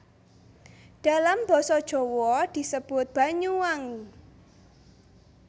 Dalam basa Jawa disebut Banyuwangi